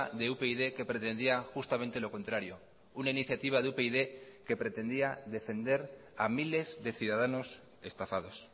de upyd que pretendía justamente lo contrario una iniciativa de upyd que pretendía defender a miles de ciudadanos estafados